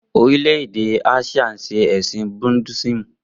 Orílè-èdè Áṣíà ń ṣe ẹ̀sìn Buddhism